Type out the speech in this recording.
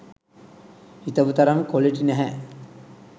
හිතපු තරම් කොලිටි නැහැ.